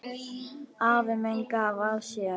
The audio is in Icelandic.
Afi minn gaf af sér.